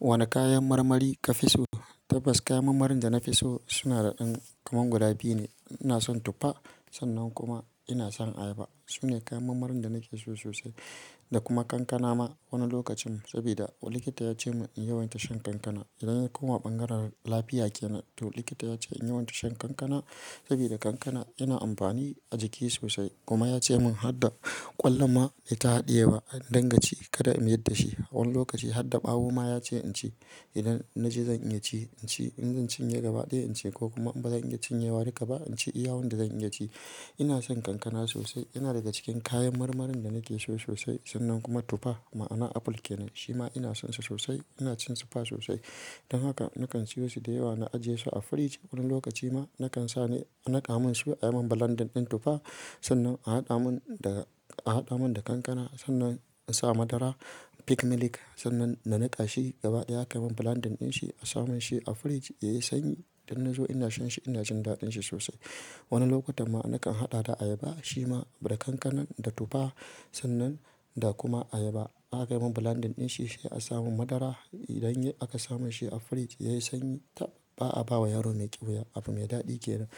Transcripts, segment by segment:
Wane kayan marmari ka fi so? Tabbas kayan marmarin da na fi so suna da ɗan kaman guda biyu ne. Ina son tuffa sannan kuma ina son ayaba. Su ne kayan mammarin da nake so sosai da kuma kankana ma wani lokacin sabida likita ya ce mun in yawaita shan kankana. Idan an koma ɓangaren lafiya ke nan, to likita ya ce in yawaita shan kankana sabida kankana yana amfani a jiki sosai. Kuma ya ce mun hadda ƙwallo ma nai ta haɗiyewa, in dinga ci kada in yadda shi. Wani lokaci harda ɓawo ma ya ce in ci. Idan na ji zan iya ci, in ci. In zan cinye gabaɗaya in ci ko kuma in ba zan iya cinyewa dika ba, in ci iya wanda zan iya ci. Ina son kankana sosai. Yana daga cikin kayan marmarin da nake so sosai sannan kuma tuffa. Ma'ana apple ke nan. Shi ma ina son sa sosai, ina cin tufa sosai. Don haka nakan siyo su da yawa na ajiye su a frij Wani lokaci ma nakan sa ne a nika mun su ai min blending ɗin tuffa sannan a haɗa mun da, a haɗa mun da kankana sannan in sa madara peak milk sannan na nika shi gabaɗaya aka mun blending din shi a samun shi a frij yayi sanyi. Idan na zo ina shan shi, ina jin daɗin shi sosai. Wani lokutan ma nakan haɗa da ayaba, shi ma da kankanan, da tufa sannan da kuma ayaba. A ka yi mun blending din shi sai a sa mun madara. Idan aka saman shi a firij yayi sanyi tab ba a bawa yaro mai ƙyuya. Abu mai daɗi ke nan.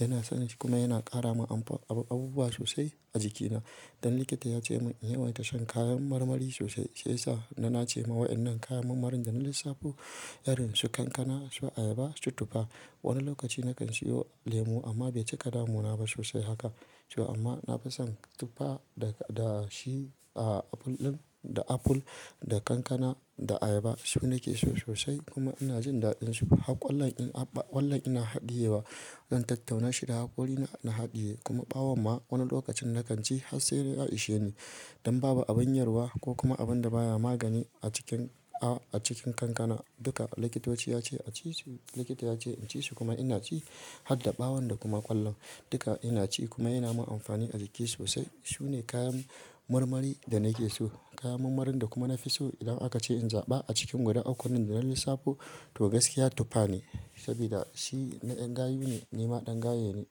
Ina son shi kuma yana ƙara mun abu, abubuwa sosai a jikina. Don likita ya ce mun in yawaita shan kayan marmari sosai shiya sa na nace ma wa'inan kayan mammarin da na lissafo, irin su kankana, su ayaba, su tuffa. Wani lokaci nakan siyo lemu amma bai cika damuna ba sosai haka. To amma na fi son tuffa da shi, a apple ɗin, da apple, da kankana, da ayaba. Su nake so sosai kuma ina jin daɗin su. Hak ƙwallan in abba, hak ƙwallan ina haɗiye wa. Zan tattauna shi da haƙorina na haɗiye. Kuma ɓawon ma wani lokacin nakan ci har sai dai ya ishe ni. Don babu abin yarwa ko kuma abin da baya magani a cikin, a cikin kankana. Duka likitoci ya ce a ci su, likita ya ce in ci su kuma ina ci hadda ɓawon da kuma ƙwallon. Duka ina ci kuma yana mun amfani a jiki sosai. Su ne kayan marmari da nake so. Kayan mammarin da kuma na fi so, idan aka ce in zaɓa a cikin waɗannan ukunnan da na lissafo to gaskiya tuffa ne sabida shi na yan gayu ne, ni ma ɗan gaye ne.